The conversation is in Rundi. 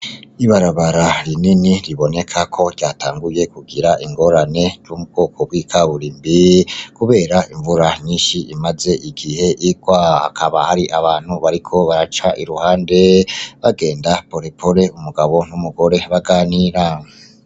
Ibarabara rinini riboneka ko ryatanguye kugira ingorane yo mu bwoko bw'ikaburimbi kubera imvura nyinshi imaze igihe igwa hakaba hari abantu bariko baraca iruhande bagenda porepore mugabo baganira.